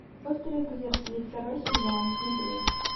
острые козырьки второй сезон смотреть